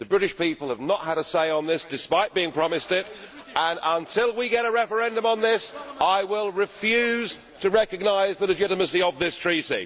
The British people have not had a say on this, despite being promised it, and until we get a referendum on this, I will refuse to recognise the legitimacy of this Treaty.